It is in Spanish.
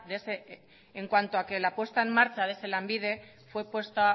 en cuanto a que la apuesta en marcha de ese lanbide fue puesta